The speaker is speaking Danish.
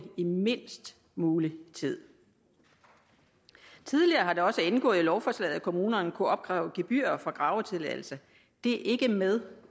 i mindst mulig tid tidligere har det også indgået i lovforslaget at kommunerne kunne opkræve gebyrer for gravetilladelse det er ikke med